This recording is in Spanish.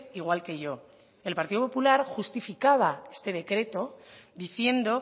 igual que yo el partido popular justificaba este decreto diciendo